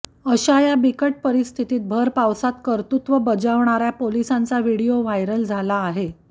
अशा या बिकट परिस्थितीत भरपावसात कर्तृव्य बजावणाऱ्या पोलिसांचा व्हिडिओ व्हायरल झाला आहे